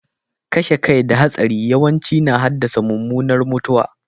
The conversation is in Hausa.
Kashe kai da hatsari yawanci na haddasa mummunar mutuwa.